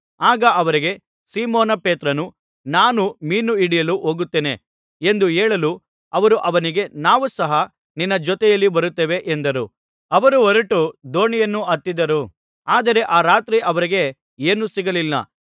ಆಗ ಅವರಿಗೆ ಸೀಮೋನ ಪೇತ್ರನು ನಾನು ಮೀನು ಹಿಡಿಯಲು ಹೋಗುತ್ತೇನೆ ಎಂದು ಹೇಳಲು ಅವರು ಅವನಿಗೆ ನಾವೂ ಸಹ ನಿನ್ನ ಜೊತೆಯಲ್ಲಿ ಬರುತ್ತೇವೆ ಎಂದರು ಅವರು ಹೊರಟು ದೋಣಿಯನ್ನು ಹತ್ತಿದರು ಆದರೆ ಆ ರಾತ್ರಿ ಅವರಿಗೆ ಏನೂ ಸಿಗಲಿಲ್ಲ